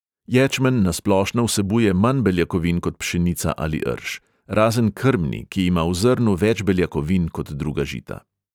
Ječmen na splošno vsebuje manj beljakovin kot pšenica ali rž, razen krmni, ki ima v zrnu več beljakovin kot druga žita.